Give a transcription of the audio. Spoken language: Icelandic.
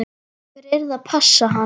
Einhver yrði að passa hann.